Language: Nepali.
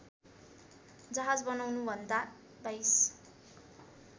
जहाज बनाउनभन्दा २२